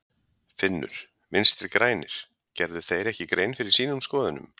Finnur: Vinstri-grænir, gerðu þeir ekki grein fyrir sínum skoðunum?